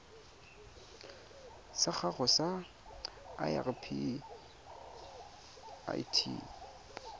sa gago sa irp it